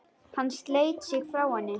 Hann sleit sig frá henni.